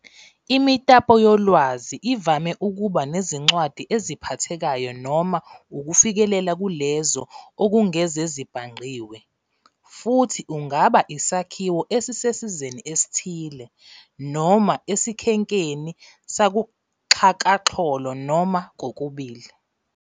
Imitapoyolwazi ivame ukuba nezincwadi eziphathekayo noma ukufikelela kulezo okungezezibhangqiwe, futhi ungaba isakhiwo esisesizeni esithile, noma esikhenkeni sakuxhakaxholo noma kokubili.